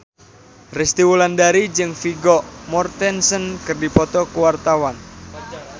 Resty Wulandari jeung Vigo Mortensen keur dipoto ku wartawan